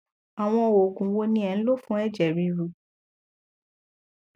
àwọn òògùn wo ni ẹ ń lò fún ẹjẹ ríru